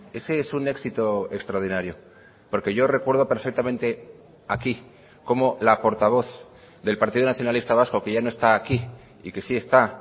ese es un éxito extraordinario porque yo recuerdo perfectamente aquí cómo la portavoz del partido nacionalista vasco que ya no está aquí y que sí está